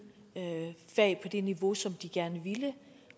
fag på det niveau som de gerne ville